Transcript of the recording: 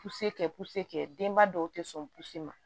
Puse kɛ puse kɛ denba dɔw tɛ sɔn puse ma